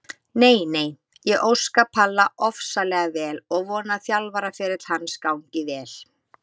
Nei nei, ég óska Palla ofsalega vel og vona að þjálfaraferill hans gangi vel.